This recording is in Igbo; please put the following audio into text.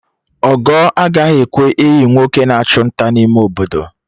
Ogo agaghị ekwe iyi nwoke na achụ nta n'ime Obodo